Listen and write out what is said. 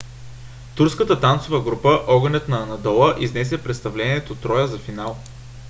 турската танцова група огънят на анадола изнесе представлението троя за финал